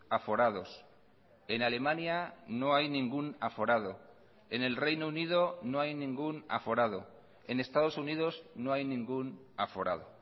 aforados en alemania no hay ningún aforado en el reino unido no hay ningún aforado en estados unidos no hay ningún aforado